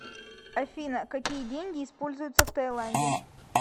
афина какие деньги используются в тайланде